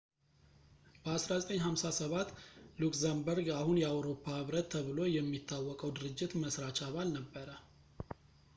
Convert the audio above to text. በ1957 ሉክዘምበርግ አሁን የአውሮፓ ኅብረት ተብሎ የሚታወቀው ድርጅት መሥራች አባል ነበረ